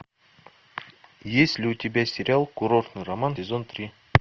есть ли у тебя сериал курортный роман сезон три